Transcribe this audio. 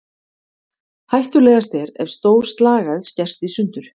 Hættulegast er ef stór slagæð skerst í sundur.